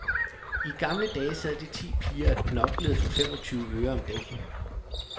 I gamle dage sad de ti piger og knoklede for femogtyve øre om dagen.